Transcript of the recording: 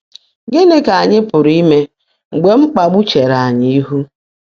Gịnị ka anyị pụrụ ime mgbe mkpagbu chere anyị ihu?